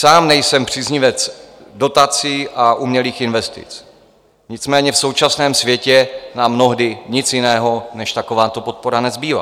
Sám nejsem příznivec dotací a umělých investic, nicméně v současném světě nám mnohdy nic jiného než takováto podpora nezbývá.